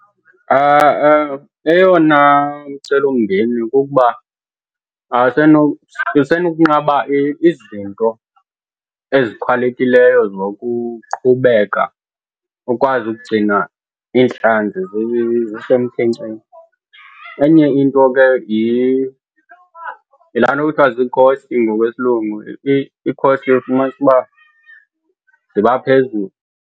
Eyona micelimngeni kukuba kusenokunqaba izinto ezichanekileyo zokuqhubeka ukwazi ukugcina iintlanzi zisemkhenkceni. Enye into ke yilaa nto kuthiwa zii-cost ngokwesilungu, ii-cost uyofumanisa uba ziba phezulu.